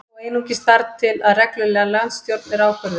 Þó einungis þar til að regluleg landsstjórn er ákvörðuð